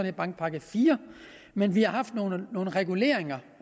en bankpakke iv men vi har haft nogle reguleringer